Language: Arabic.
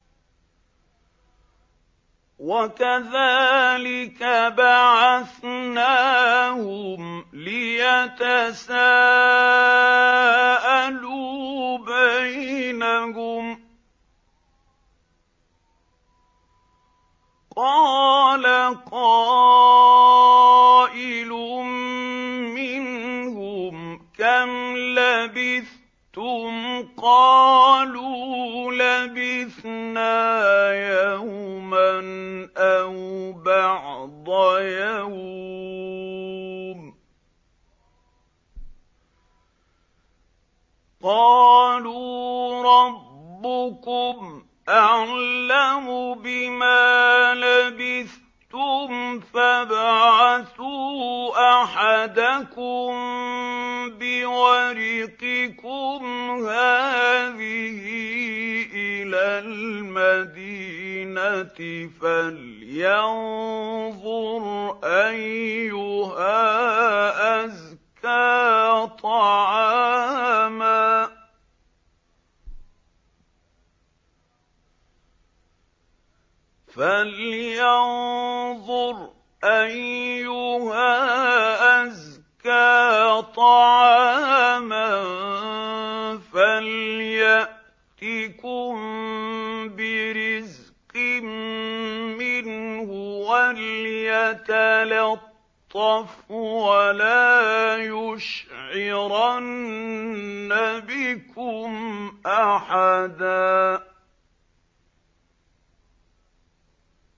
وَكَذَٰلِكَ بَعَثْنَاهُمْ لِيَتَسَاءَلُوا بَيْنَهُمْ ۚ قَالَ قَائِلٌ مِّنْهُمْ كَمْ لَبِثْتُمْ ۖ قَالُوا لَبِثْنَا يَوْمًا أَوْ بَعْضَ يَوْمٍ ۚ قَالُوا رَبُّكُمْ أَعْلَمُ بِمَا لَبِثْتُمْ فَابْعَثُوا أَحَدَكُم بِوَرِقِكُمْ هَٰذِهِ إِلَى الْمَدِينَةِ فَلْيَنظُرْ أَيُّهَا أَزْكَىٰ طَعَامًا فَلْيَأْتِكُم بِرِزْقٍ مِّنْهُ وَلْيَتَلَطَّفْ وَلَا يُشْعِرَنَّ بِكُمْ أَحَدًا